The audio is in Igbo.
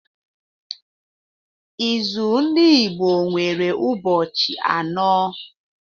Izu ndị Igbo nwere ụbọchị anọ.